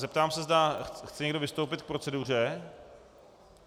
Zeptám se, zda chce někdo vystoupit k proceduře.